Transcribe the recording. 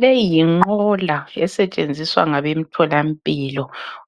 Leyi yinqola esetshenziswa ngabemtholampilo